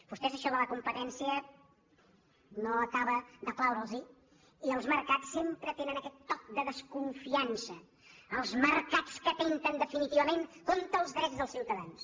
vostès això de la competència no acaba de plaure’ls i els mercats sempre tenen aquest toc de desconfian·ça els mercats que atempten definitivament contra els drets dels ciutadans